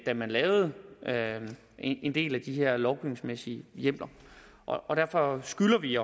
da man lavede en del af de her lovgivningsmæssige hjemler og derfor skylder vi